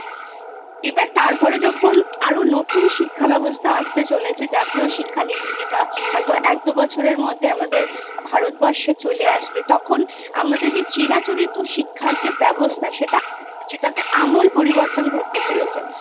এবার তারপরে যখন আরো নতুন শিক্ষা ব্যবস্থা আসতে চলেছে জাতীয় শিক্ষানীতি যেটা হয়তো একদুবছরের মধ্যে আমাদের ভারতবর্ষে চলে আসবে তখন আমাদের চিরাচরিত শিক্ষার যে ব্যবস্থা সেটা সেটাতে আমূল পরিবর্তন ঘটতে চলেছে